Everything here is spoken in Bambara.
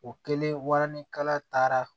O kɛlen waranikala taara